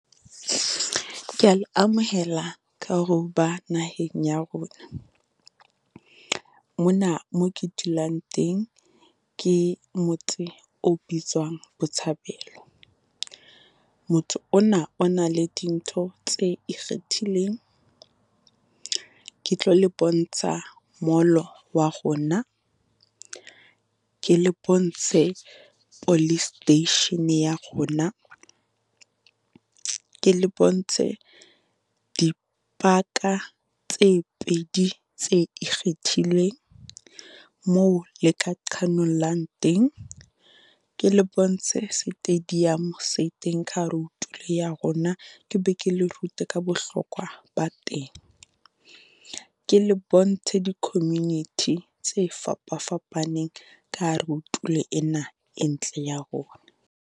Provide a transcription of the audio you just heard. Ke ya le amohela ka hore o ba naheng ya rona, mona mo ke dulang teng, ke motse o bitswang Botshabelo. Motho ona o na le dintho tse ikgethileng. Ke tlo le bontsha mall-o wa rona, ke le bontshe police station ya rona, ke le bontshe dipaka tse pedi tse ikgethileng moo le ka qhanollang teng. Ke le bontshe stadium se teng ka hare ho tulo ya rona, ke be ke le rute ka bohlokwa ba teng. Ke le bontshe di-community tse fapafapaneng ka hare ho tulo ena e ntle ya rona.